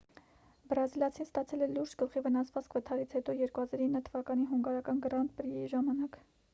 բրազիլացին ստացել է լուրջ գլխի վնասվածք վթարից հետո 2009 թվականի հունգարական գրանդ պրիի ժամանակ